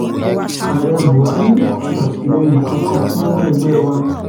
ààrẹ buhari kò sàtìlẹyìn kankan fún ẹgbẹ wa